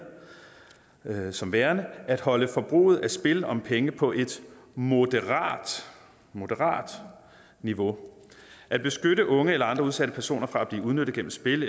som værende at holde forbruget af spil om penge på et moderat moderat niveau at beskytte unge eller andre udsatte personer fra at blive udnyttet gennem spil